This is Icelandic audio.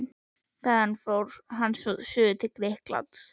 Þaðan fór hann svo suður til Grikklands.